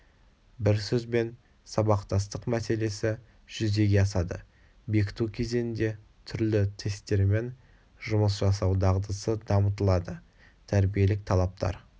бір сөзбен сабақтастық мәселесі жүзеге асады бекіту кезеңінде түрлі тесттермен жұмыс жасау дағдысы дамытылады тәрбиелік талаптар